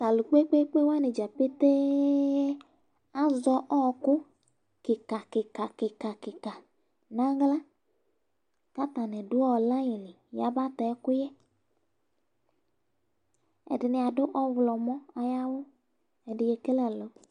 to alo kpekpekpe wani dza ƒete azɛ ɔku keka keka keka keka n'ala k'atani do layi li yaba tɛ ɛkòyɛ ɛdini ado ɔwlɔmɔ ayi awu ɛdi ekele ɛlu